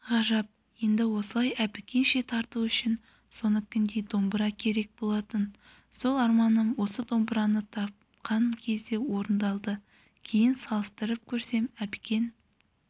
ғажап енді осылай әбікенше тарту үшін соныкіндей домбыра керек болатын сол арманым осы домбыраны тапқан кезде орындалды кейін салыстырып көрсем әбікен